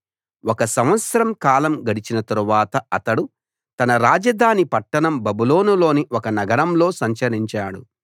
ఒక సంవత్సర కాలం గడచిన తరువాత అతడు తన రాజధాని పట్టణం బబులోనులోని ఒక నగరంలో సంచరించాడు